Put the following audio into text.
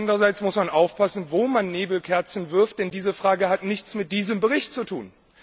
Andererseits muss man aufpassen, wo man Nebelkerzen wirft, denn diese Frage hat nichts mit diesem Bericht zu tun.